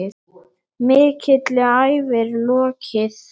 Mikilli ævi er lokið.